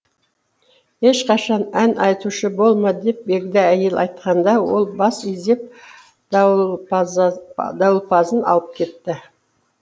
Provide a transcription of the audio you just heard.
ешқашан ән айтушы болма деп егде әйел айтқанда ол бас изеп дауылпазын алып кетті